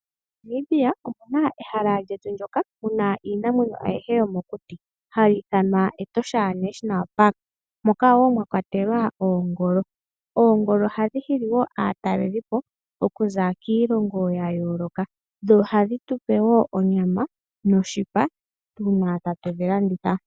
MoNamibia omuna ehala lyetu ndoka muna iinamwenyo ayihe yomomuti hali ithanwa Etosha National Park, moka wo mwa kwatelwa oongolo. Oongolo ohadhi hili wo aatalelipo okuza kiilongo ya yooloka dho ohadhi tupe wo onyama noshipa, uuna tatu dhi landitha.